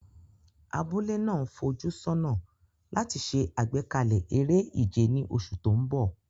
Abúlé náà ń fojú sọ́nà láti ṣe àgbékalẹ̀ eré ìje ní oṣù tó ń bọ̀.